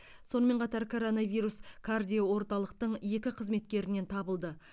сонымен қатар коронавирус кардиоорталықтың екі қызметкерінен табылды